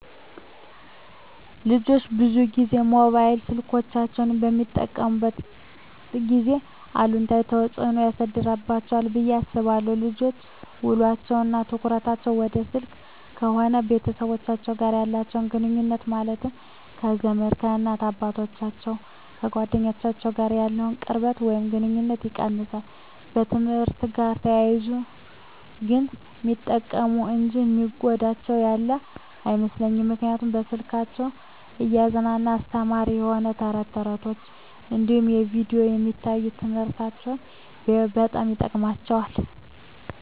ልጆች ብዙን ጊዜ ሞባይል ስልኮችን በሚጠቀሙበት ጊዜ አሉታዊ ተፅዕኖ ያሳድርባቸዋል ብየ አስባለው ልጆች ውሎቸው እና ትኩረታቸውን ወደ ስልክ ከሆነ ከቤተሰቦቻቸው ጋር ያላቸውን ግኑኙነት ማለትም ከዘመድ፣ ከእናት አባቶቻቸው፣ ከጓደኞቻቸው ጋር ያለውን ቅርበት ወይም ግኑኝነት ይቀንሳል። በትምህርትአቸው ጋር ተያይዞ ግን ሚጠቀሙ እንጂ የሚጎዳቸው ያለ አይመስለኝም ምክንያቱም በስልኮቻቸው እያዝናና አስተማሪ የሆኑ ተረት ተረቶች እንዲሁም በቪዲዮ የሚታዩ ትምህርቶችን ቢያዩ በጣም ይጠቅማቸዋል።